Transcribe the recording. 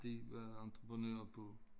De var entreprenører på